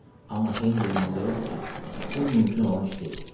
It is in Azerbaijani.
Amma Henri inandırırdı ki, bu mümkün olan iş deyil.